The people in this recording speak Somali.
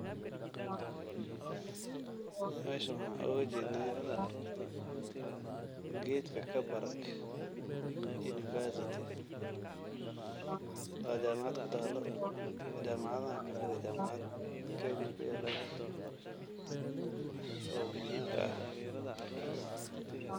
Meshan waxan oga jednaa gedka kabarak University, waa jamacad kutaalo jamacadahan kamide jamacad Kenya kuyaalan, oo muhiimka ah